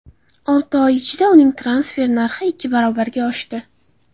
Olti oy ichida uning transfer narxi ikki barobarga oshdi.